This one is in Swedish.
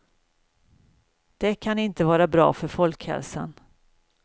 Det kan inte vara bra för folkhälsan.